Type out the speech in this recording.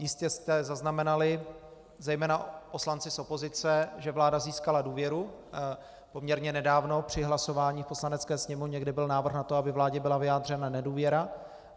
Jistě jste zaznamenali, zejména poslanci z opozice, že vláda získala důvěru poměrně nedávno při hlasování v Poslanecké sněmovně, kde byl návrh na to, aby vládě byla vyjádřena nedůvěra.